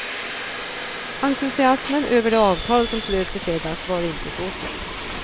Entusiasmen över det avtal som slöts i fredags var inte så stor.